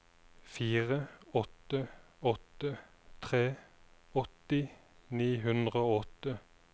fire åtte åtte tre åtti ni hundre og åtte